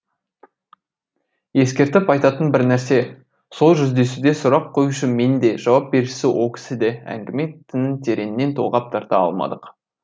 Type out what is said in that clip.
ескертіп айтатын бір нәрсе сол жүздесуде сұрақ қоюшы мен де жауап беруші ол кісі де әңгіме тінін тереңнен толғап тарта алмадық